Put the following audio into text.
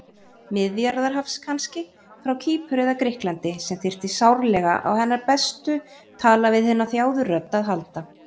Miðjarðarhafs kannski, frá Kýpur eða Grikklandi, sem þyrfti sárlega á hennar bestu tala-við-hina-þjáðu-rödd að halda.